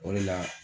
O de la